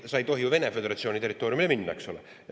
Ja me ei tohi ju Vene Föderatsiooni territooriumile minna, eks ole.